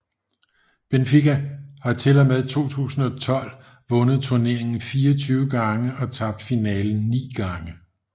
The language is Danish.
Benfica har til og med 2012 vundet turneringen 24 gange og tabt finalen 9 gange